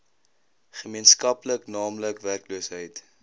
gemeenskaplik naamlik werkloosheid